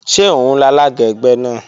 Ṣé òun lalága ẹgbẹ́ náà?